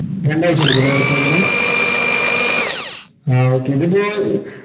രണ്ടായ്ച്ച എടുക്കൂലേ ന് ആഹ് okay ഇതിപ്പോ